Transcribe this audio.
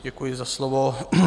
Děkuji za slovo.